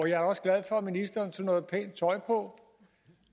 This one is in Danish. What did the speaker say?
jeg er også glad for at ministeren tog noget pænt tøj på